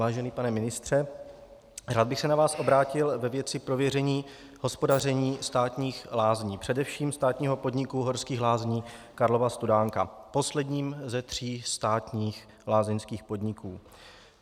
Vážený pane ministře, rád bych se na vás obrátil ve věci prověření hospodaření státních lázní, především státního podniku Horských lázní Karlova Studánka, posledního ze tří státních lázeňských podniků.